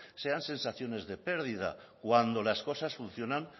sean sensaciones de pérdida cuando las cosas funcionan